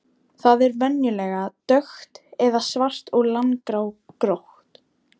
Það er venjulega dökkt eða svart og langrákótt.